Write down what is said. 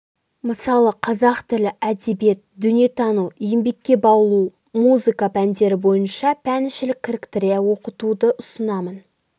мысалы қазақ тілі әдебиет дүниетану еңбекке баулу музыка пәндері бойынша пәнішілік кіріктіре оқытуды ұсынамын